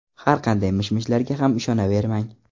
Har qanday mish-mishlarga ham ishonavermang.